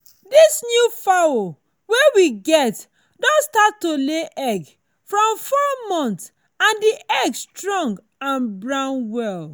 this new fowl wey we get don start to lay egg from four month and the egg strong and brown well.